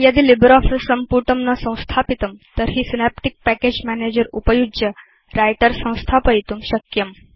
यदि लिब्रियोफिस सम्पुटं न संस्थापितं तर्हि सिनेप्टिक् पैकेज मैनेजर उपयुज्य व्रिटर संस्थापयितुं शक्यम्